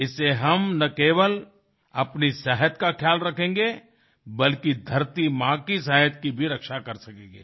इससे हम न केवल अपनी सेहत का ख्याल रखेंगे बल्कि धरती माँ की सेहत की भी रक्षा कर सकेंगे